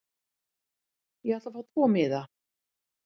Ég ætla að fá tvo miða.